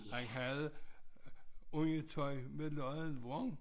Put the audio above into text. Han havde undertøj med lodden vrang